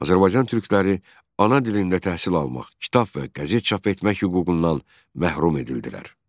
Azərbaycan türkləri ana dilində təhsil almaq, kitab və qəzet çap etmək hüququndan məhrum edildilər.